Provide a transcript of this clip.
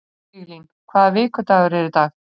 Viglín, hvaða vikudagur er í dag?